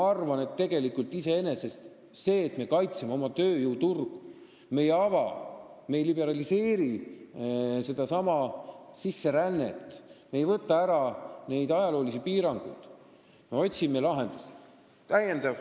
Aga me kaitseme oma tööjõuturgu, me ei ava, me ei liberaliseeri sisserännet, me ei võta ära neid ajaloolisi piiranguid, me otsime lahendusi.